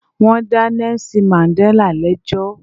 Wọ́n dá Nelson Mandela lẹ́jọ́